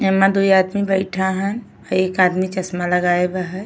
ये मा दू आदमी बइठा है। एक आदमी चस्मा लगाया हुआ है।